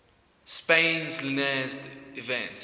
spain's linares event